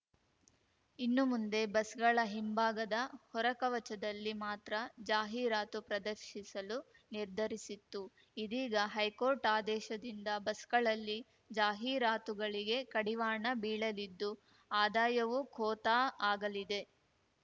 ಇನ್ನು ಮುಂದೆ ಬಸ್‌ಗಳ ಹಿಂಭಾಗದ ಹೊರ ಕವಚದಲ್ಲಿ ಮಾತ್ರ ಜಾಹೀರಾತು ಪ್ರದರ್ಶಿಸಲು ನಿರ್ಧರಿಸಿತ್ತು ಇದೀಗ ಹೈಕೋರ್ಟ್‌ ಆದೇಶದಿಂದ ಬಸ್‌ಗಳಲ್ಲಿ ಜಾಹೀರಾತುಗಳಿಗೆ ಕಡಿವಾಣ ಬೀಳಲಿದ್ದು ಆದಾಯವೂ ಖೋತಾ ಆಗಲಿದೆ